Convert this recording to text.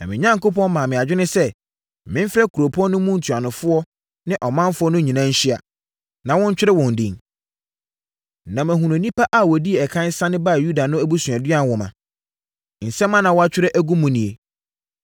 Na me Onyankopɔn maa me adwene sɛ memfrɛ kuropɔn no mu ntuanofoɔ ne ɔmanfoɔ no nyinaa nhyia, na wɔntwerɛ wɔn din. Na mahunu nnipa a wɔdii ɛkan sane baa Yuda no abusuadua nwoma. Nsɛm a na wɔatwerɛ agu mu nie: